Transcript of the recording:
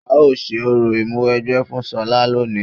A ó ṣe orò Ìmúwẹgbẹ́ fún ṣọlá lónìí